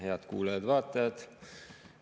Head kuulajad-vaatajad!